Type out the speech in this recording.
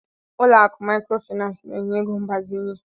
Ụlọ akụ Maịkrofịnansị na-enye ego mgbazinye.